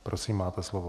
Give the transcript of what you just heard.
Prosím, máte slovo.